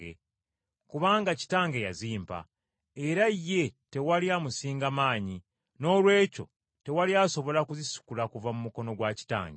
kubanga Kitange yazimpa, era ye tewali amusinga maanyi, noolwekyo tewali asobola kuzisikula kuva mu mukono gwa kitange.